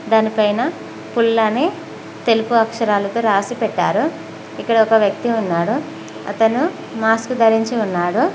దానిపైన పుల్ అని తెలుపు అక్షరాలతో రాసి పెట్టారు ఇక్కడ ఒక వ్యక్తి ఉన్నాడు అతను మాస్క్ ధరించి ఉన్నాడు.